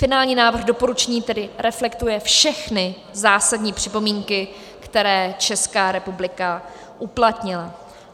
Finální návrh doporučení tedy reflektuje všechny zásadní připomínky, které Česká republika uplatnila.